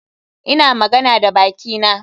Ina magana da bakina.